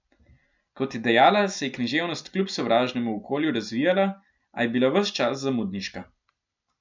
Kot je dejala, se je književnost kljub sovražnemu okolju razvijala, a je bila ves čas zamudniška.